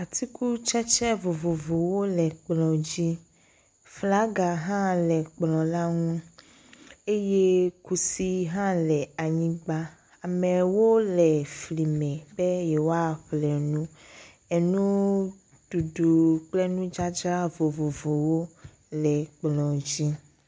Tugbedze ɖe le edɔwɔƒe. enɔ nyi ɖe zikpui dzi ye wotsɔ enunyamɔ alo kɔmpita da ɖe akplɔ dzi. Ahavivi hã le egbɔ. Ele nu ŋlɔm ɖe e emɔ dzi. Eŋuwo paki ɖe anyigba. Teƒea nyakpɔ nyuie.